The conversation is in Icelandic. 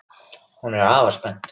Hún er afar spennt.